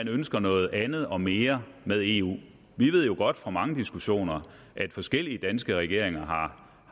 ønsker noget andet og mere med eu vi ved jo godt fra mange diskussioner at forskellige danske regeringer